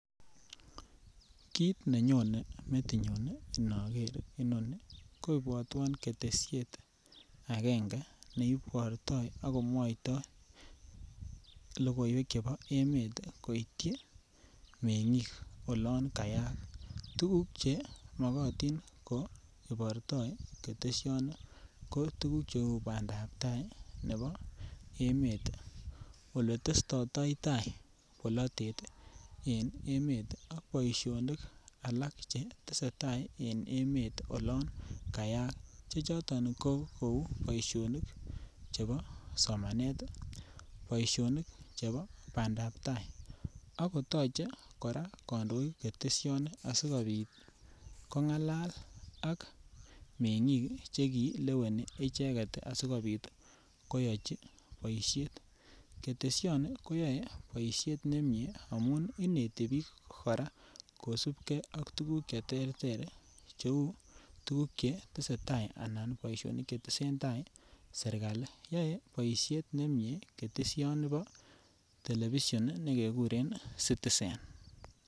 Kit nenyone metinyun inoger inoni ko ibwotwon ketesiet angenge ne ibortoi ak komwoitoi logoywek chebo emet koityi mengik olan kayak. tuguk che mokotin ko ibortoi ketesioni ko tuguk che uu bandap tai nebo emet ole testotoi tai polotet ii en emet ak boisionik alak che tesetai en emet olon kayaak, che choton ko kouu boisionik chebo somanet, boisionik chebo bandap tai ako toche koraa kondoik ketesioni asikopit kongalal ak mengiik che kileweni icheget ii asikopit ii koyochi boishet. Ketesioni koyoe boiset nemie amun inete biik koraa kosupgee ak tuguk che terter che uu tuguk che tesetai anan boisionik che tesentai serkali. Yoe boishet nemie ketesioni nebo telebishon me keguren citizen.